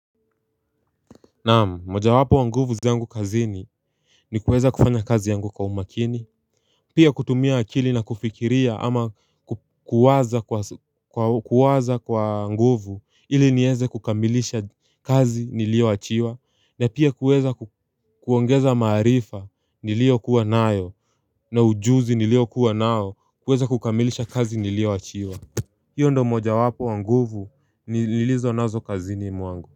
Naam moja wapo wa nguvu zangu kazini ni kuweza kufanya kazi yangu kwa umakini Pia kutumia akili na kufikiria ama kuwaza kwa wanguvu ili nieze kukamilisha kazi nilio achiwa na pia kuweza kuongeza maarifa nilio kuwa nayo na ujuzi nilio kuwa nao kuweza kukamilisha kazi nilio achiwa hiyo ndo moja wapo wanguvu nilizo nazo kazini mwangu.